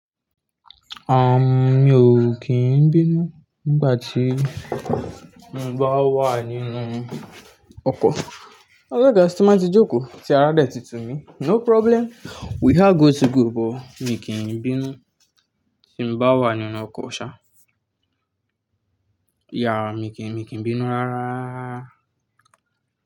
Ahmm, mi ò kì í n bínú nígbà tí mo bá wà nínú ọkọ̀. Òlógáà, tí n bà ti jókòó, tí ará dé ti tù mí. No problem, we have go to go, but mi kì í bínú tí mo bá wà nínú ọkọ̀ ṣá. Yeah, mi kì í, mi kì í bínú ráráa.